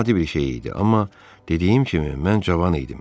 Bu adi bir şey idi, amma dediyim kimi, mən cavan idim.